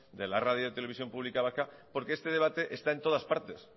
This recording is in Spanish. de la radiotelevisión pública vasca porque este debate está en todas partes